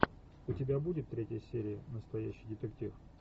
у тебя будет третья серия настоящий детектив